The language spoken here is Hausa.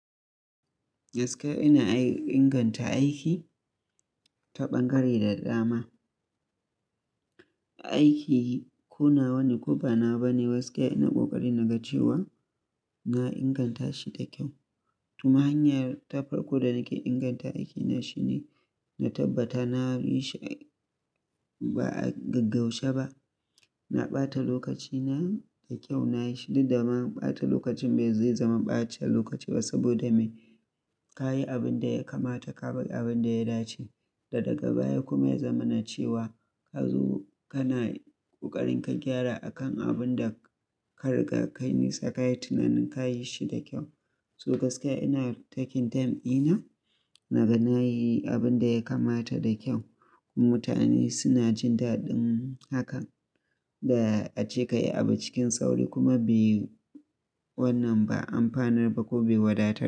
Gaskiya ina inganta aiki ta ɓangare da dama. Aiki ko nawa ne ko banawa bane. Gaskiya ina ƙoƙari naga cewa na inganta shi da kyau. Kuma hanyar ta farko da nake inganta aikina shine na tabbata na yi shi ba a gaggauche ba. Na ɓata lokacina da kyau nayi shi. Duk da ma ɓata lokacin ba zai zama ɓace lokaci ba saboda me ka yi abin da ya kamata, ka bar abinda ya dace. Da daga baya kuma ya zama na cewa ka zo kana ƙoƙarin ka gyara akan abin da kariga ka yi Nisa kayi tunanin ka yi shi da kyau. So gaskiya ina taking time ina naga na yi abin da ya kamata da kyau. Mutane suna jin daɗin hakan. Da ace ka yi abu cikin sauri kuma bai wannan ba amfanar ba ko bai wadatar.